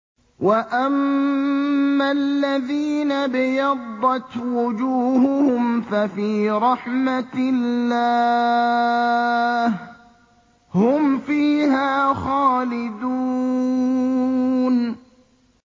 وَأَمَّا الَّذِينَ ابْيَضَّتْ وُجُوهُهُمْ فَفِي رَحْمَةِ اللَّهِ هُمْ فِيهَا خَالِدُونَ